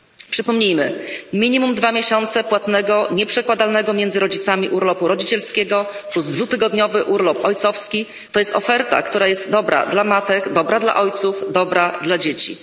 Przypomnijmy minimum dwa miesiące płatnego, nieprzekładalnego między rodzicami urlopu rodzicielskiego plus dwutygodniowy urlop ojcowski to jest oferta, która jest dobra dla matek, dobra dla ojców, dobra dla dzieci.